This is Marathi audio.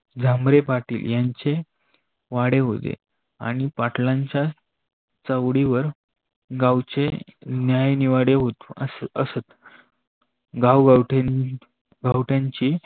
झामरे पाटली यांचे वाडे होते आणि पाटलाच्या चौवडीवर गावचे न्याय निवाडे असत. गाव गावठीन गावठ्यांची